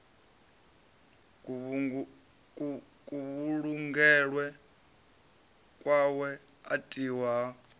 kuvhulungelwe kwawe u tiwa ha